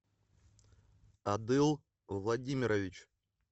адыл владимирович